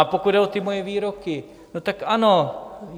A pokud jde o moje výroky, no tak ano.